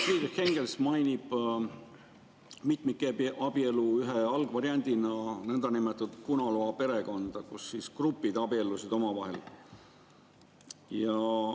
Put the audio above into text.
Friedrich Engels mainib mitmikabielu ühe algvariandina nõndanimetatud punalua-perekonda, kus grupid abiellusid omavahel.